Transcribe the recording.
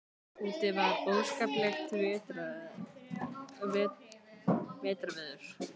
Úti var óskaplegt vetrarveður.